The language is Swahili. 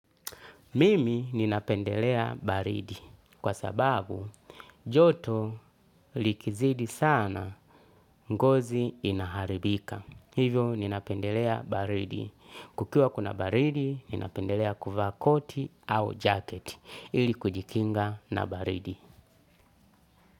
Mimi ninapendelea baridi kwa sababu joto likizidi sana ngozi inaharibika. Hivyo ninapendelea baridi. Kukiwa kuna baridi ninapendelea kuvaa koti au jacket ili kujikinga na baridi.